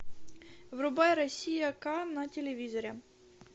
врубай россия ка на телевизоре